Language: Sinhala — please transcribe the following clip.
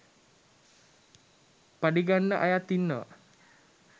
පඩි ගන්න අයත් ඉන්නවා